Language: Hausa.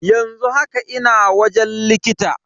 Yanzu haka ina wajen likita.